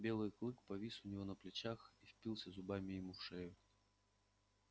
белый клык повис у него на плечах и впился зубами ему в шею